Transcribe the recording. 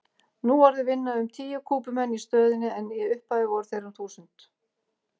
Nú orðið vinna um tíu Kúbumenn í stöðinni en í upphafi voru þeir um þúsund.